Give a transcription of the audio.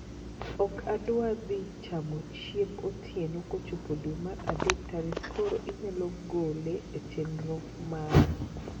Ok adwar dhi chamo chiemb otieno kochopo dwe mar adek tarik koro inyalo gole e chenro mara